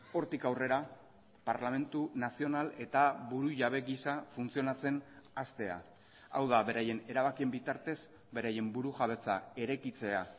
hortik aurrera parlamentu nazional eta burujabe gisa funtzionatzen hastea hau da beraien erabakien bitartez beraien burujabetza eraikitzea